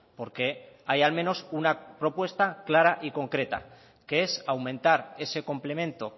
porque hay al menos una propuesta clara y concreta que es aumentar ese complemento